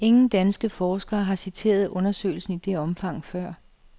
Ingen danske forskere har citeret undersøgelsen i det omfang før.